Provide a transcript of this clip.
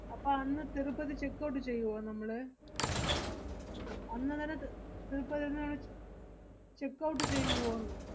അപ്പ അന്ന് തിരുപ്പതി checkout ചെയ്യുവോ നമ്മള്? അന്നുതന്നെ ത്~ തിരുപ്പതിന്ന് നമ്മള് ച്~ checkout ചെയ്യുവോന്ന്?